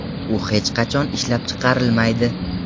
U hech qachon ishlab chiqarilmaydi.